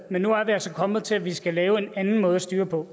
men nu er vi altså kommet til at vi skal lave en anden måde at styre på